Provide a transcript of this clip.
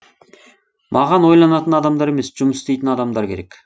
маған ойланатын адамдар емес жұмыс істейтін адамдар керек